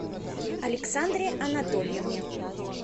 александре анатольевне